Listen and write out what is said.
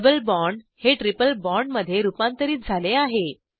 double bond हे triple बॉण्डमध्ये रुपांतरीत झाले आहे